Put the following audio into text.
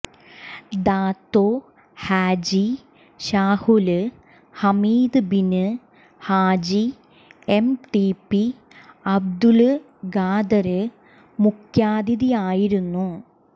Dato Haji Shahul Hameed bin Haji M T P Abdul Khader മുഖ്യാതിഥിയായിരുന്നു